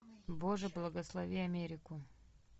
боже благослови америку